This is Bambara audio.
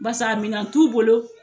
Barisa a mina t'u bolo